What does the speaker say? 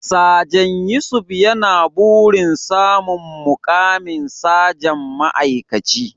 Sajan Yusuf yana burin samun muƙamin sajan ma'aikaci.